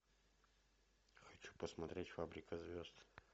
хочу посмотреть фабрика звезд